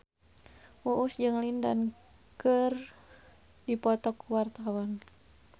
Uus jeung Lin Dan keur dipoto ku wartawan